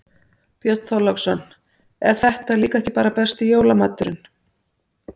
Björn Þorláksson: Er þetta líka ekki bara besti jólamaturinn?